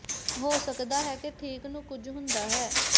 ਹੋ ਸਕਦਾ ਹੈ ਕਿ ਠੀਕ ਨੂੰ ਕੁਝ ਹੁੰਦਾ ਹੈ